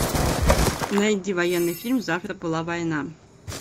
найди военный фильм завтра была война